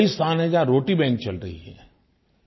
कई स्थान हैं जहाँ रोटी बैंक चल रही हैं